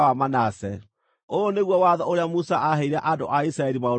Ũyũ nĩguo watho ũrĩa Musa aaheire andũ a Isiraeli maũrũmagĩrĩre.